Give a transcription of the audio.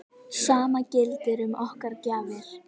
Sama gildir um okkar gjafir.